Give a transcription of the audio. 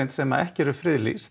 sem ekki eru friðlýst